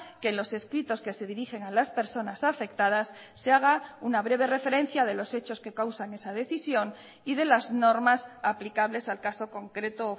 que los escritos que se dirigen a las personas afectadas se haga una breve referencia de los hechos que causan esa decisión y de las normas aplicables al caso concreto o